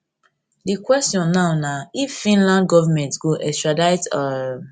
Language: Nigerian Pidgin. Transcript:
di kwestion now na if finland govment go extradite um